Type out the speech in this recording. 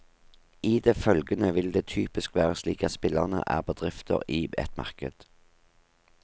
I det følgende vil det typisk være slik at spillerne er bedrifter i et marked.